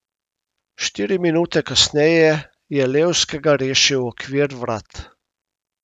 Štiri minute kasneje je Levskega rešil okvir vrat.